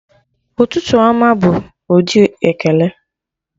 Ụtụtụ ọma' bụ ụdị ekele